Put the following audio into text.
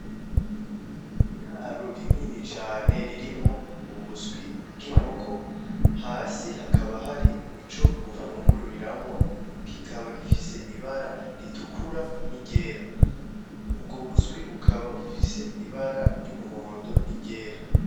Ni iraro ririnini cane ririmwo ubuswi bw'inkoko hasi hakaba hari ico bufunguriramwo, kikaba gifise ibara ritukura n'iryera, ubwo buswi bukaba bufise ibara ry'umuhondo n'iryera.